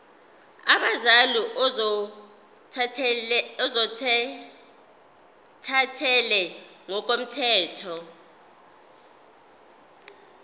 abazali ozothathele ngokomthetho